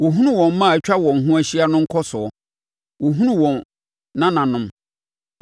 Wɔhunu wɔn mma a atwa wɔn ho ahyia no nkɔsoɔ, wɔhunu wɔn nananom.